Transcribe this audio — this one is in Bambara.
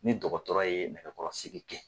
Ni dɔgɔtɔrɔ ye nɛgɛkɔrɔsigi kɛ.